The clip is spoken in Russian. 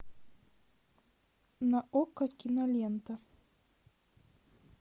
на окко кинолента